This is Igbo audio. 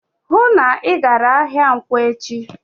"Hụụ na Ị gara ahịa nkwọ echi!"